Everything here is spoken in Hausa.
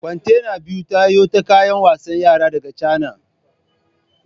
Kwantena biyu tayo ta kayan wasan yara daga Chana